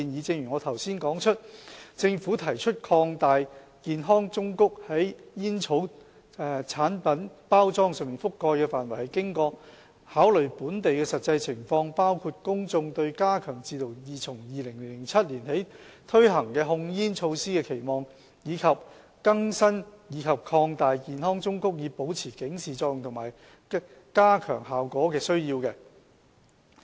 正如我之前指出，政府提出擴大健康忠告在煙草產品包裝上覆蓋的範圍，是經過考慮本地的實際情況，包括公眾對加強自2007年起推行的控煙措施的期望，以及更新和擴大健康忠告以保持警示作用及加強效果的需要。